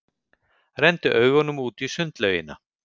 Renndi augunum út í sundlaugina.